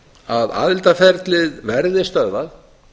að aðildarferlið verði stöðvað